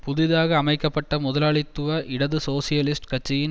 புதிதாக அமைக்க பட்ட முதலாளித்துவ இடது சோசியலிஸ்ட் கட்சியின்